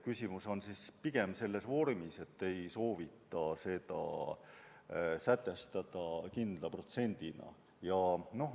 Küsimus on pigem selles vormis, et seda ei soovita sätestada kindla protsendina.